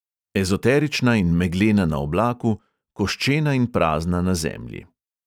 Ezoterična in meglena na oblaku, koščena in prazna na zemlji.